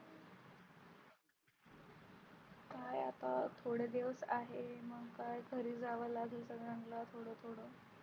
काय आता थोडे दिवस आहे. मग काय घरी जावे लागेल थोडा थोडा